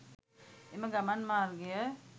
එම ගමන් මාර්ගය